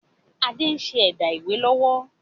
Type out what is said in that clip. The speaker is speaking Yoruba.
Adé ń ṣe ẹ̀dá ìwé lọ́wọ́